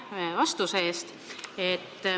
Aitäh vastuse eest!